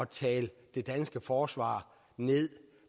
tale det danske forsvar ned